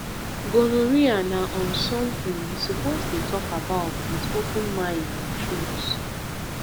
gonorrhea na um something we suppose dey talk about with open mind and truth